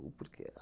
O porquê?